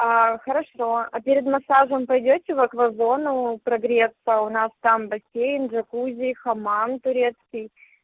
хорошо а перед массажем пойдёте в аквазону прогреться у нас там бассейн джакузи хамам турецкий